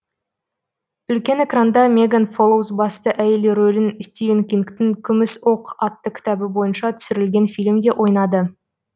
үлкен экранда меган фолоуз басты әйел рөлін стивен кингтың күміс оқ атты кітабы бойынша түсірілген фильмде ойнады